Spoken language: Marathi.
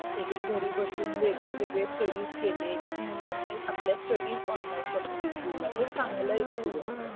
एके एक घरी बसून वेगळे वेगळे स्टडीस केले एक एक मुलांनी आपल्या स्टडीएस ऑनलाईन कंप्लिट केल्या एक्सपीऱ्यांस होत